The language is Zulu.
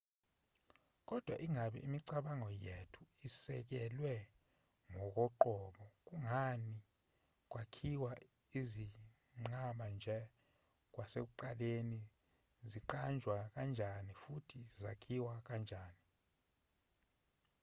kodwa ingabe imicabango yethu isekelwe ngokoqobo kungani kwakhiwa izinqaba nje kwasekuqaleni zaqanjwa kanjani futhi zakhiwa kanjani